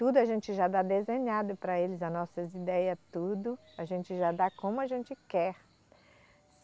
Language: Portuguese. Tudo a gente já dá desenhado para eles, as nossas ideias, tudo a gente já dá como a gente quer.